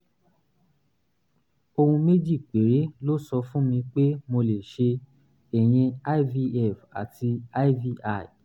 ohun méjì péré ló sọ fún mi pé mo lè ṣe ìyẹn ivf àti iui